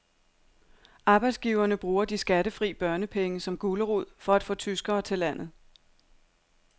Arbejdsgiverne bruger de skattefri børnepenge som gulerod for at få tyskere til landet.